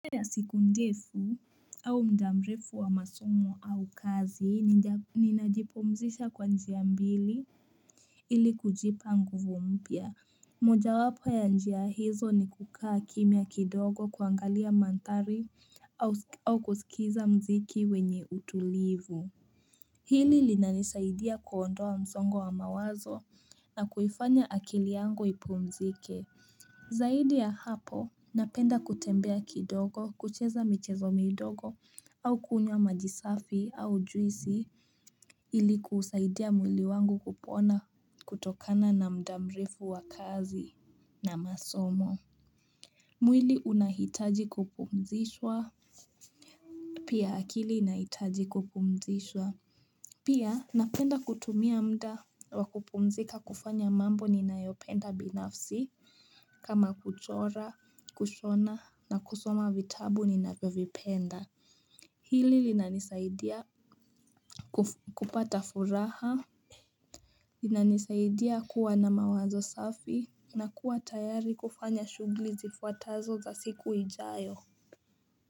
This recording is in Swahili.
Siku ndefu au muda mrefu wa masomo au kazi ninajipumzisha kwa njia mbili ili kujipa nguvu mpya. Moja wapo ya njia hizo ni kukaa kimya kidogo kuangalia mandhari au kusikiza mziki wenye utulivu. Hili linanisaidia kuondoa msongo wa mawazo na kuifanya akili yangu ipumzike. Zaidi ya hapo, napenda kutembea kidogo, kucheza michezo midogo, au kunywa majisafi au juisi ili kuusaidia mwili wangu kupona kutokana na mda mrefu wa kazi na masomo. Mwili unahitaji kupumzishwa. Pia akili inahitaji kupumzishwa. Pia napenda kutumia mda wa kupumzika kufanya mambo ninayopenda binafsi kama kuchora, kushona na kusoma vitabu ni ninavyovipenda. Hili linanisaidia kupata furaha. Linanisaidia kuwa na mawazo safi na kuwa tayari kufanya shughuli zifuatazo za siku ijayo.